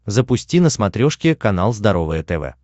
запусти на смотрешке канал здоровое тв